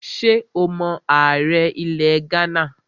Ṣé o mọ ààrẹ ilẹ̀ Ghánà?